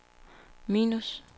minus